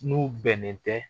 N'u bɛnnen tɛ